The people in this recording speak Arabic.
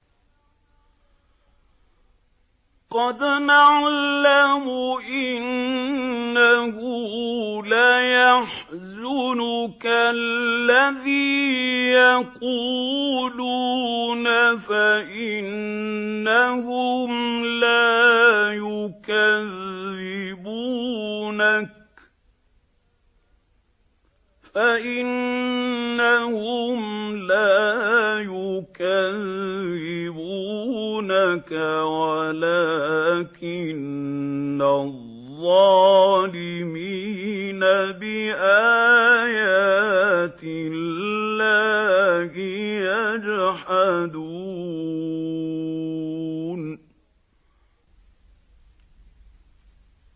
قَدْ نَعْلَمُ إِنَّهُ لَيَحْزُنُكَ الَّذِي يَقُولُونَ ۖ فَإِنَّهُمْ لَا يُكَذِّبُونَكَ وَلَٰكِنَّ الظَّالِمِينَ بِآيَاتِ اللَّهِ يَجْحَدُونَ